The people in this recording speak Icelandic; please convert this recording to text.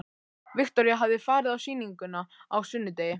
Viktoría hafði farið á sýninguna á sunnudegi.